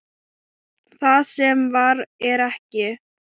Það sem var er ekki.